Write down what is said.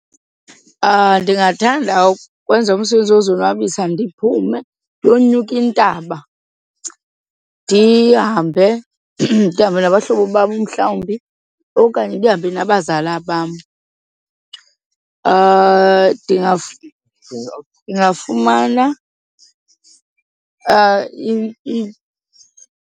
Ndingathanda ukwenza umsebenzi wozonwabisa ndiphume ndiyonyuka intaba. Ndihambe ndihambe nabahlobo bam umhlawumbi okanye ndihambe nabazala bam, ndingafumana .